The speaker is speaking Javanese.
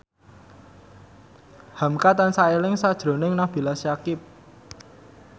hamka tansah eling sakjroning Nabila Syakieb